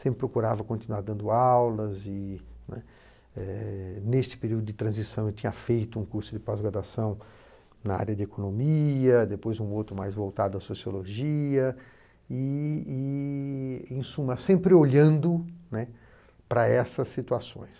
Sempre procurava continuar dando aulas e, né, eh neste período de transição, eu tinha feito um curso de pós-graduação na área de economia, depois um outro mais voltado à sociologia e e e, em suma, sempre olhando, né, para essas situações.